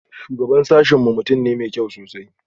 Shugaban sashen mu mutum ne mai kyau sosai